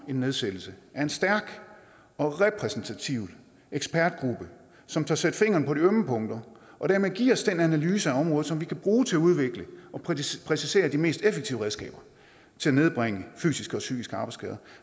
nedsat en stærk og repræsentativ ekspertgruppe som tør sætte fingeren på de ømme punkter og dermed give os en analyse af området som vi kan bruge til at udvikle og præcisere de mest effektive redskaber til at nedbringe af fysiske og psykiske arbejdsskader